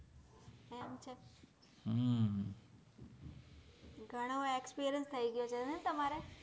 ઘણો experience થઇ ગયો છે ને તમારે